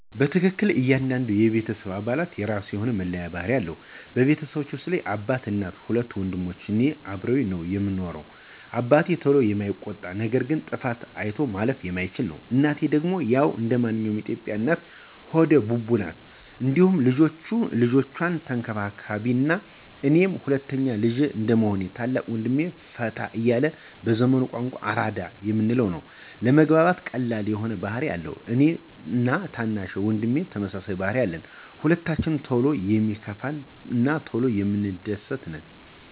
በትክክል ! እያንዳንዱ የቤተሰብ አባላት የራሱ የሆነ መለያ ባህሪ አለው። በቤተሰባችን ውስጥ አባት፣ እናት፣ ሁለት ወንድሞች እና እኔ አብረን ነው ምንኖረው። አባቴ ቶሎ የማይቆጣ ነገር ግን ጥፋት አይቶ ማለፍ የማይችል ነው፤ እናቴ ደግሞ ያው እንደማንኛውም የኢትዮጲያ እናት ሆደ ቡቡ ናት እንዲሁም ልጆቿን ተንከባካቢም ናት፤ እኔ ሁለተኛ ልጅ እንደመሆኔ ታላቅ ወንድሜ ፈታ ያለ በዘመኑ ቋንቋ አራዳ የምንለው ነው። ለመግባባት ቀላል የሆነ ባህሪ አለው፤ እኔ እና ታናሽ ወንድሜ ተመሳሳይ ባህሪ አለን። ሁለታችንም ቶሎ የሚከፋን እና ቶሎ የምንደስት ነን።